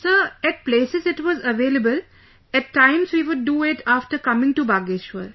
Sir, at places it was available...at times we would do it after coming to Bageshwar